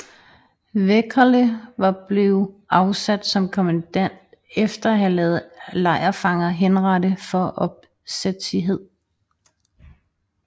Wäckerle var blev afsat som kommandant efter at have ladet lejrfanger henrette for opsætsighed